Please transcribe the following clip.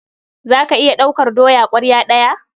Za ka iya ɗaukar doya ƙwarya ɗaya?